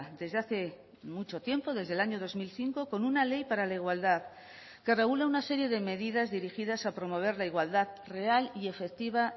desde hace mucho tiempo desde el año dos mil cinco con una ley para la igualdad que regula una serie de medidas dirigidas a promover la igualdad real y efectiva